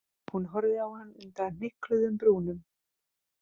Hún horfði á hann undan hnykluðum brúnum.